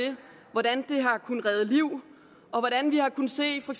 hvordan det har kunnet redde liv og hvordan vi har kunnet se i for